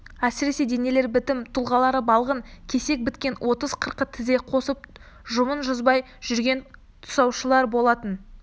әсіресе денелері бітім-тұлғалары балғын кесек біткен отыз-қырқы тізе қосып жұбын жазбай жүрген тасушылар болатын